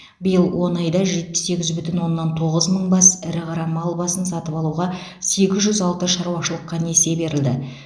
биыл он айда жетпіс сегіз бүтін оннан тоғыз мың бас ірі қара мал басын сатып алуға сегіз жүз алты шаруашылыққа несие берілді